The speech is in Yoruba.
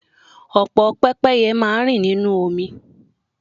Ọ̀pọ̀ pẹ́pẹ́ye máa rìn nínú omi.